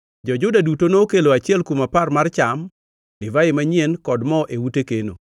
Jo-Juda duto nokelo achiel kuom apar mar cham, divai manyien kod mo e ute keno.